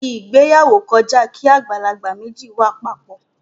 Ìgbéyàwó kọjá kí àgbàlagbà méjì wà papọ.